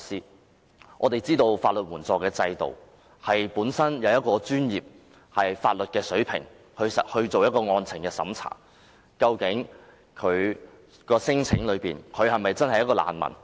眾所周知，香港的法律援助制度是以專業的法律水平就案情作出審查，究竟聲請者是否真的是難民？